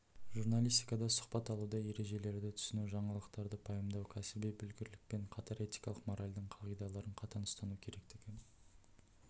журналистикада сұхбат алуда ережелерді түсіну жаңалықтарды пайымдауда кәсіби білгірлікпен қатар этикалық-моральдың қағиадалардың қатаң ұстану керектігі